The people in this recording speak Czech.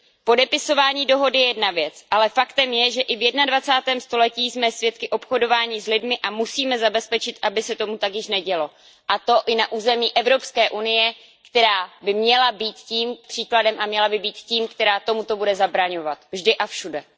Podepisování dohody je jedna věc, ale faktem je, že i v jednadvacátém století jsme svědky obchodování s lidmi a musíme zabezpečit, aby se tomu tak již nedělo, a to i na území Evropské unie, která by měla být příkladem a měla by být tím, kdo tomuto bude zabraňovat, vždy a všude.